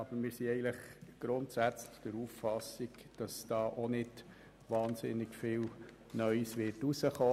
Aber grundsätzlich sind wir der Auffassung, dass dabei auch nicht wahnsinnig viel Neues herauskommen wird.